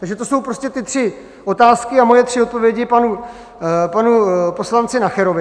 Takže to jsou prostě ty tři otázky a moje tři odpovědi panu poslanci Nacherovi.